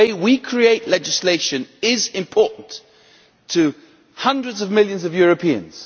The way we create legislation is important to hundreds of millions of Europeans.